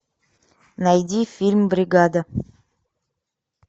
найди фильм бригада